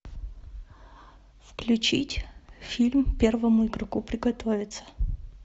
включить фильм первому игроку приготовиться